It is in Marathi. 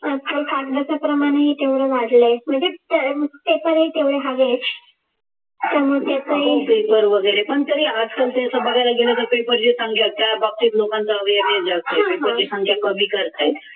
आज काल कागदाचे प्रमाण आहे तेवढा वाढला आहे म्हणजे paper ही तेवढे हवे आहेत पण तरी आजकाल बघायला गेला तर त्या बाबतीत लोकांचा awareness जास्त आहे कमी करत आहेत